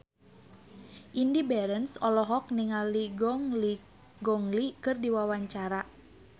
Indy Barens olohok ningali Gong Li keur diwawancara